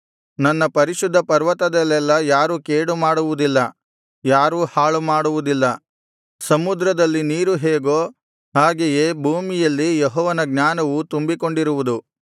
ನನ್ನ ಪರಿಶುದ್ಧ ಪರ್ವತದಲ್ಲೆಲ್ಲಾ ಯಾರೂ ಕೇಡು ಮಾಡುವುದಿಲ್ಲ ಯಾರೂ ಹಾಳು ಮಾಡುವುದಿಲ್ಲ ಸಮುದ್ರದಲ್ಲಿ ನೀರು ಹೇಗೋ ಹಾಗೆಯೇ ಭೂಮಿಯಲ್ಲಿ ಯೆಹೋವನ ಜ್ಞಾನವು ತುಂಬಿಕೊಂಡಿರುವುದು